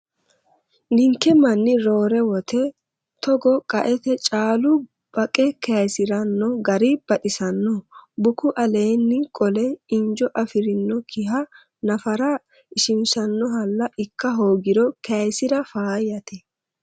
Ninke manni roore woyte togo qaete caalu baqqe kayisirano gari baxisano bukku aleeni qole injo afirinokkiha nafara ishishanohalla ikka hoogiro kayisira faayyate